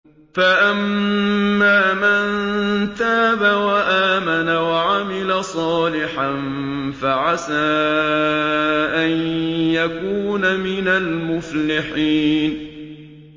فَأَمَّا مَن تَابَ وَآمَنَ وَعَمِلَ صَالِحًا فَعَسَىٰ أَن يَكُونَ مِنَ الْمُفْلِحِينَ